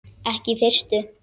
Ekki í fyrstu.